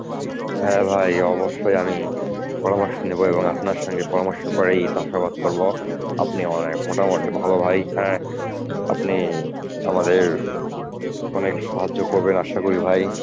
হ্যাঁ ভাই অবশ্যই আমি পরামর্শ নেব এবং আপনার সঙ্গে পরামর্শ করেই চাষাবাদ করব আপনি অনেক মোটামুটি ভালো ভাই হ্যাঁ আপনি আমাদের অনেক সাহায্য করবেন আশা করি ভাই